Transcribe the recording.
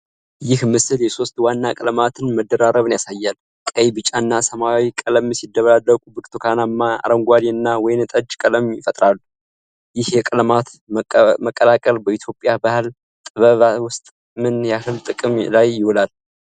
ይህ ምስል የሦስት ዋና ቀለማት መደራረብን ያሳያል። ቀይ፣ ቢጫ እና ሰማያዊ ቀለም ሲደባለቁ ብርቱካናማ፣ አረንጓዴ እና ወይን ጠጅ ቀለም ይፈጠራል። ይህ የቀለማት መቀላቀል በኢትዮጵያ ባህላዊ ጥበባት ውስጥ ምን ያህል ጥቅም ላይ ይውላል?